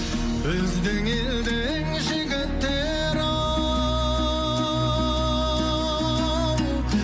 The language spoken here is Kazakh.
біздің елдің жігіттері ау